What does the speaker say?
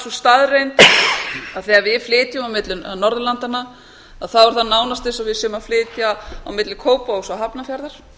sú staðreynd að þegar við flytjum á milli norðurlandanna er það nánast eins og við séum að flytja á milli kópavogs og hafnarfjarðar